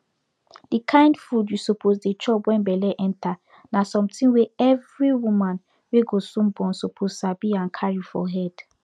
de kind food u suppose dey chop wen belle enter na sometin wey every woman wey go soon born suppose sabi and carry for head